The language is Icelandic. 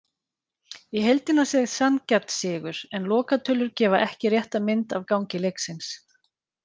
Í heildina séð sanngjarn sigur, en lokatölur gefa ekki rétta mynd af gangi leiksins.